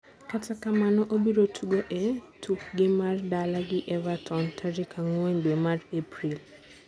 Kata kamano, obiro tugo e tukgi mar dala gi Everton tarik angwen dwe mar April.